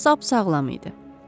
Qoca sap sağlam idi.